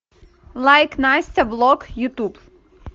лайк настя блог ютуб